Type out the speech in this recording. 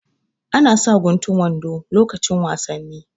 Ana sa guntun wando lokacin wasannai